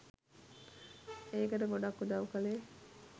ඒකට ගොඩක් උදව් කලේ